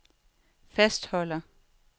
fastholder